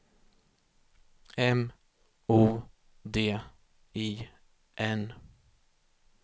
M O D I N